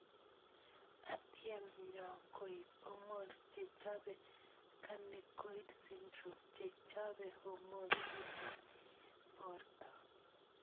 Atyem nyo koip hormones che chope carnicoid syndrome che chobe hormones chechang ing porto.